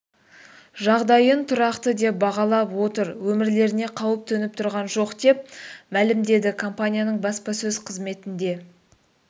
жағдайын тұрақты деп бағалап отыр өмірлеріне қауіп төніп тұрған жоқ деп мәлімдеді компанияның баспасөз қызметінде